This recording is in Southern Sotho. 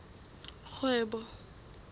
kgwebo